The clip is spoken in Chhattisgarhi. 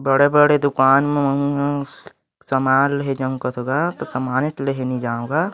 बड़े-बड़े दुकान म महु ह सामान लेहे जाहु कथो गा ता सामाने च लेहे नि जाव गा--